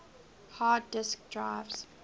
hard disk drives